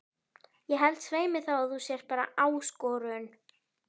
Ég held svei mér þá að þú sért bara ÁSKORUN